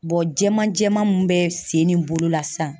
jɛman jɛman mun be sen ni bolo la sisan.